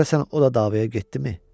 Görəsən o da davaya getdimi?